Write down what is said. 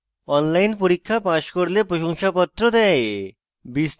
online পরীক্ষা pass করলে প্রশংসাপত্র দেয়